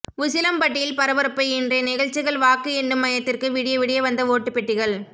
உசிலம்பட்டியில் பரபரப்பு இன்றைய நிகழ்ச்சிகள் வாக்கு எண்ணும் மையத்திற்கு விடிய விடிய வந்த ஓட்டு பெட்டிகள்